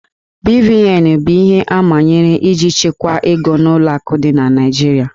BVN bụ ihe amanyere iji chekwaa ego n'ụlọ akụ dị na Naịjirịa